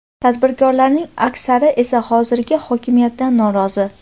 Tadbirkorlarning aksari esa hozirgi hokimiyatdan norozi.